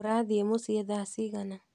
Urathiĩ mũciĩ thaa cigana?